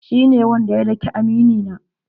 Shi ne wanda ya dake amini na.